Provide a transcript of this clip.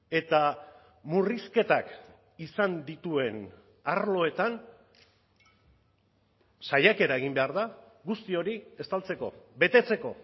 eta murrizketak izan dituen arloetan saiakera egin behar da guzti hori estaltzeko betetzeko